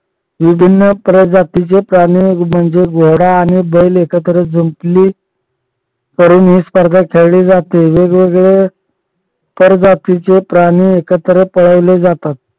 विभिन्न प्रजातीचे प्राणी म्हणजे घोडा आणि बैल एकत्र जुंपली करून हि स्पर्धा खेळली जाते वेगवेगळे कर जातीचे प्राणी पळवले जातात.